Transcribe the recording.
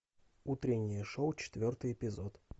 утреннее шоу четвертый эпизод